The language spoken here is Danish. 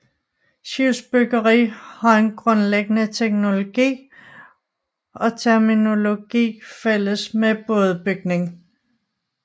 Skibsbyggeri har en grundlæggende teknologi og terminologi fælles med bådebygning